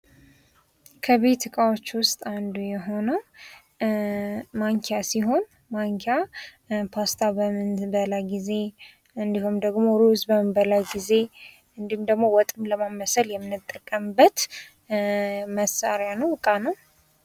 ከቤት እቃዎች ዉስጥ አንዱ የሆነዉ አንዱ ማንኪያ ሲሆን ማንኪያ ፓስታ በምንበላ ጊዜ፣ ሩዝ በምንበላበት ጊዜ እንዲሁም ደግሞ ወጥ የምናማስልበት መሳሪያ ነዉ እቃ ነዉ።